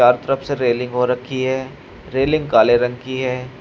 हर तरफ से रेलिंग हो रखी है रेलिंग काले रंग की है।